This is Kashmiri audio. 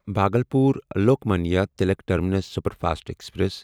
Bhagalpur Lokmanya Tilak terminus superfast express